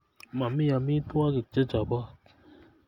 Mami amitwogik che chopot